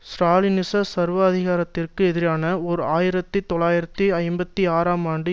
ஸ்ராலினிச சர்வாதிகாரத்திற்கு எதிரான ஓர் ஆயிரத்தி தொள்ளாயிரத்து ஐம்பத்தி ஆறாம் ஆண்டு